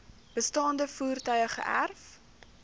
bestaande voertuie geërf